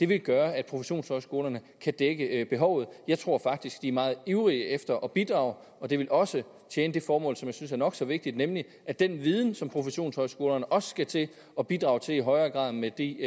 vil gøre at professionshøjskolerne kan dække behovet jeg tror faktisk de er meget ivrige efter at bidrage og det vil også tjene det formål som jeg synes er nok så vigtigt nemlig at den viden som professionshøjskolerne også skal til at bidrage til i højere grad med de